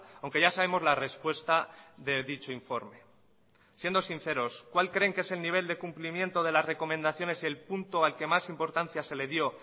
aunque ya sabemos la respuesta de dicho informe siendo sinceros cuál creen que es el nivel de cumplimiento de las recomendaciones el punto al que más importancia se le dio